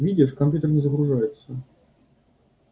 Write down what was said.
видишь компьютер не загружается